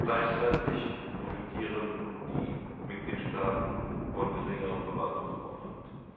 Gleichzeitig profitieren die Mitgliedstaaten von geringerem Verwaltungsaufwand.